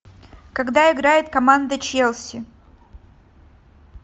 когда играет команда челси